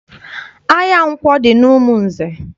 Ahịa nkwọ dị n'Umunze.